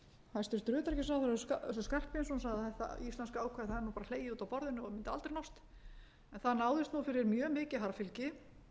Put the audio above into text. sagði að þetta íslenska ákvæði það er nú bara hlegið út af borðinu og mundi aldrei nást en það náðist nú fyrir mjög mikið harðfylgi